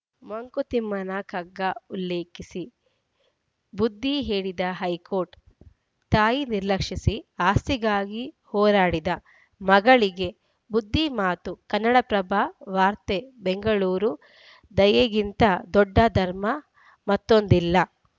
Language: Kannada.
ಮಂಕುತಿಮ್ಮನ ಕಗ್ಗ ಉಲ್ಲೇಖಿಸಿ ಬುದ್ಧಿ ಹೇಳಿದ ಹೈಕೋರ್ಟ್‌ ತಾಯಿ ನಿರ್ಲಕ್ಷಿಸಿ ಆಸ್ತಿಗಾಗಿ ಹೋರಾಡಿದ ಮಗಳಿಗೆ ಬುದ್ಧಿ ಮಾತು ಕನ್ನಡಪ್ರಭ ವಾರ್ತೆ ಬೆಂಗಳೂರು ದಯೆಗಿಂತ ದೊಡ್ಡ ಧರ್ಮ ಮತ್ತೊಂದಿಲ್ಲ